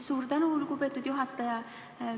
Suur tänu, lugupeetud juhataja!